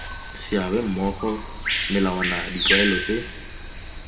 seabe mmogo melawana ditlwaelo tse